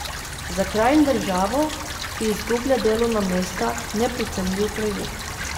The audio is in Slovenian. Za kraj in državo, ki izgublja delovna mesta, neprecenljiv projekt.